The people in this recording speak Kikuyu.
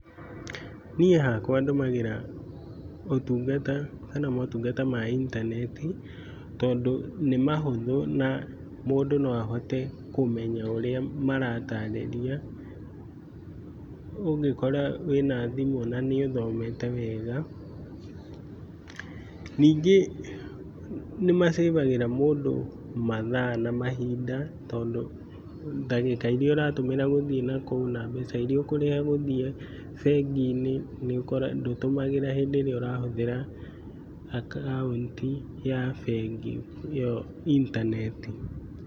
Ni hakwa ndũmagĩra ũtungata kana maũtungata ma intaneti, tondũ nĩ mahũthũ na mũndũ no ahote kũmenya ũrĩa marataarĩria ũngĩkora wĩna thimũ na nĩũthomete wega. Ningĩ nĩmasĩbagĩra mũndũ mathaa na mahinda, tondũ, ndagĩka iria ũratũmĩra gũthiĩ nakũu na mbeca iria ũkũrĩha gũthiĩ bengi-ĩnĩ nĩũgũkora ndũtũmagĩra hĩndi ĩrĩa ũrahũthĩra akaũnti ya bengi, ĩyo intaneti.